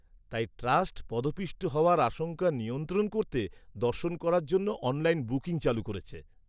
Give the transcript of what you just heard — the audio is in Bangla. -তাই ট্রাস্ট পদপিষ্ট হওয়ার আশঙ্কা নিয়ন্ত্রণ করতে দর্শন করার জন্য অনলাইন বুকিং চালু করেছে।